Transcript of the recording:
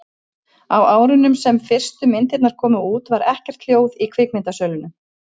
á árunum sem fyrstu myndirnar komu út var ekkert hljóð í kvikmyndasölunum